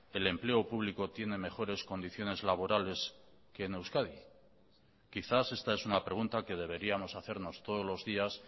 el empleo público tiene mejores condiciones laborales que en euskadi quizás esta es una pregunta que deberíamos hacernos todos los días